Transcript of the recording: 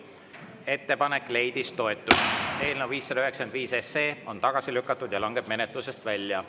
Ettepanek leidis toetust, eelnõu 595 on tagasi lükatud ja langeb menetlusest välja.